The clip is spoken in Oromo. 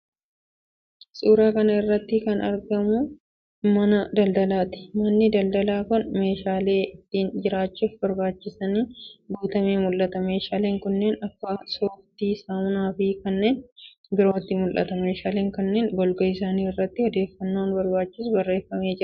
Suuraa kana irratti kan argamu mana daldalaati. Manni daldalaa kun meeshaalee ittiin jiraachuuf barbaachisaniin guutamee mul'ata. Meeshaalee kanneen akka sooftii, saamunaafi kanneen birootu mul'ata. Meeshaalee kanneen golgaa isaanii irratti odeeffannoon barbaachisu barreeffamee mul'ata.